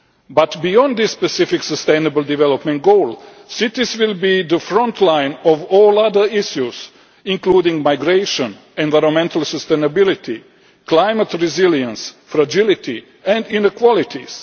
But beyond the specific Sustainable Development Goal, cities will be the frontline of all other issues, including migration, environmental sustainability, climate resilience, fragility and inequalities.